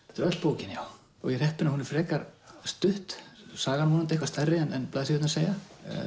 þetta er öll bókin já ég er heppinn að hún er frekar stutt sagan er vonandi eitthvað stærri en blaðsíðurnar segja